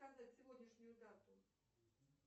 сказать сегодняшнюю дату